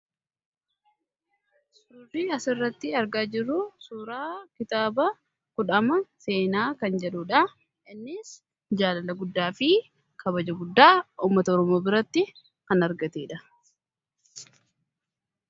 suurri asirratti argaa jirru suuraa kitaaba kudhaama seenaa kan jedhuudha. innis jaalala guddaa fi kabaja guddaa uummata oromoo biratti kan argateedha.